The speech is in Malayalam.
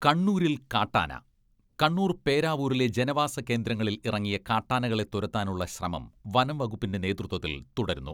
കണ്ണൂരിൽ കാട്ടാന കണ്ണൂർ പേരാവൂരിലെ ജനവാസ കേന്ദ്രങ്ങളിൽ ഇറങ്ങിയ കാട്ടാനകളെ തുരത്താനുള്ള ശ്രമം വനം വകുപ്പിന്റെ നേതൃത്വത്തിൽ തുടരുന്നു.